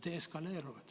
Nad eskaleeruvad.